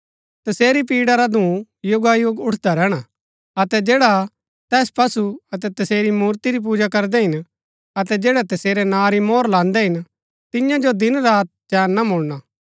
तसेरी पीड़ा रा धूँ युगायुग उठदा रैहणा अतै जैडा तैस पशु अतै तसेरी मूर्ति री पूजा करदै हिन अतै जैड़ै तसेरै नां री मोहर लांदै हिन तियां जो दिन रात चैन ना मुळणा